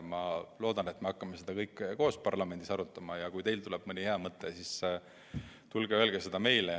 Ma loodan, et me hakkame seda kõike koos parlamendis arutama, ja kui teil tuleb mõni hea mõte, siis tulge ja öelge seda meile.